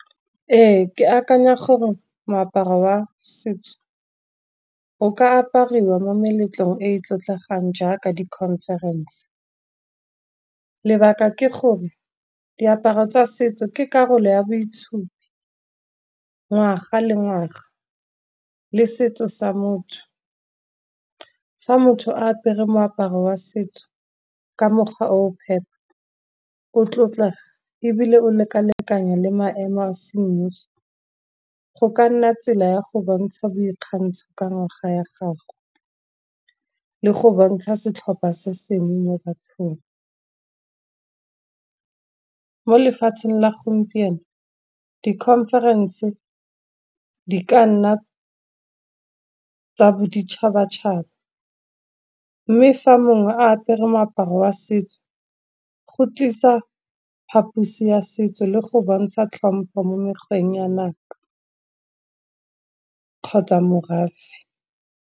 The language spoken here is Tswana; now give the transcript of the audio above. Ee, ke akanya gore moaparo wa setso o ka apariwa mo meletlong e e tlotlegang jaaka di-conference. Lebaka ke gore diaparo tsa setso ke karolo ya boitshupi, ngwaga le ngwaga, le setso sa motho. Fa motho a apere moaparo wa setso ka mogwa o phepa o tlotlega, ebile o lekalekanya le maemo a semmuso, go ka nna tsela ya go bontsha boikgantsho ka ngwaga ya gago, le go bontsha setlhopha se sengwe mo bathong. Mo lefatsheng la gompieno di-conference di ka nna tsa boditšhabatšhaba, mme fa mongwe a apere moaparo wa setso go tlisa phaphusi ya setso le go bontsha tlhompo mo mekgweng ya naga kgotsa morafe.